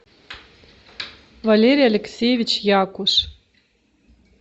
валерий алексеевич якуш